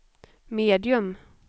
medium